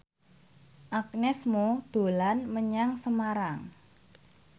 Agnes Mo dolan menyang Semarang